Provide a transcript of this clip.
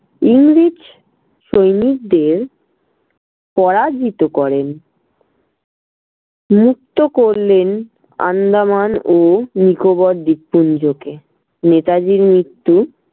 ইংরেজ সৈনিকদের পরাজিত করেন। মুক্ত করলেন আন্দামান ও নিকোবর দীপপুঞ্জকে। নেতাজির মৃত্যু